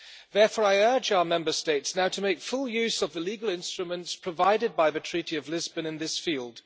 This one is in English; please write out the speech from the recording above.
Therefore I urge our Member States now to make full use of the legal instruments provided by the Treaty of Lisbon in this field.